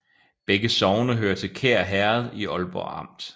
Begge sogne hørte til Kær Herred i Aalborg Amt